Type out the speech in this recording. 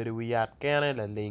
i wi yat kene